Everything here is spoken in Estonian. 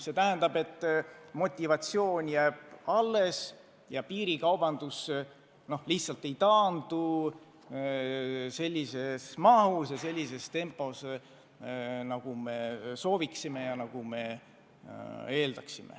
See tähendab, et motivatsioon jääb alles ja piirikaubandus ei taandu sellises mahus ja sellises tempos, nagu me sooviksime.